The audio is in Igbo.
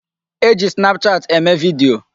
E ji snapchat eme video.